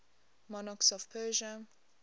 monarchs of persia